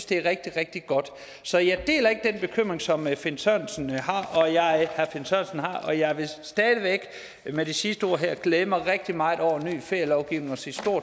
det er rigtig rigtig godt så jeg deler ikke den bekymring som herre finn sørensen har og jeg vil stadig væk med det sidste ord her glæde mig rigtig meget over en ny ferielovgivning og sige